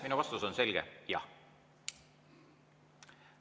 Minu vastus on selge: jah.